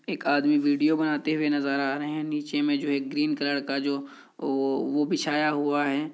एक आदमी वीडियो बनाते हुए नजर आ रहे हैं। नीचे में जो एक ग्रीन कलर का जो वो वो बिछाया हुआ है।